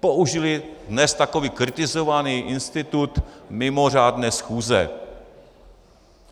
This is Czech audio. Použili dnes tak kritizovaný institut mimořádné schůze.